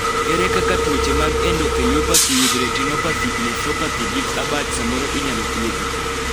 ere kaka tuoche mag endotheliopathy with retinopathy, nephropathy gic abach samoro inyalo thiedhi?